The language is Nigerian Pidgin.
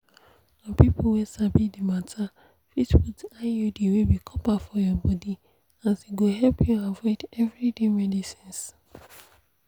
na people wey sabi the matter fit put iud wey be copper for your body as e go help you avoid everyday medicines.